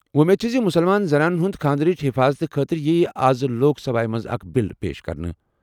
وۄمید چھِ زِ مُسلمان زنانَن ہِنٛدِ خانٛدرٕچ حِفاظتہٕ خٲطرٕ یِیہِ آز لوک سبھایہ منٛز اکھ بل پیش کرنہٕ۔